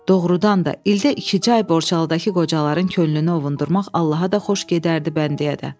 Doğrudan da, ildə ikicə ay Borçalıdakı qocaların könlünü ovundurmaq Allaha da xoş gedərdi bəndəyə də.